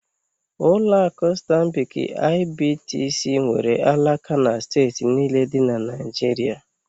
Ụlọ akụ Stanbic IBTC nwere alaka na steeti niile dị na Naịjirịa